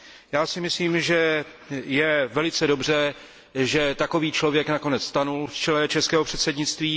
Já si myslím, že je velice dobře, že takový člověk nakonec stanul v čele českého předsednictví.